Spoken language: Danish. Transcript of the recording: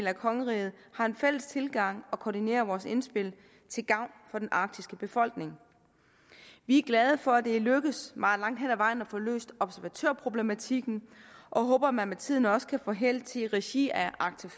af kongeriget har en fælles tilgang og koordinerer vores indspil til gavn for den arktiske befolkning vi er glade for at det er lykkedes meget langt hen ad vejen at få løst observatørproblematikken og håber at man med tiden også kan få held til i regi af arctic